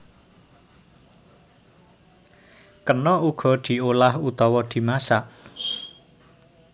Kena uga diolah utawa dimasak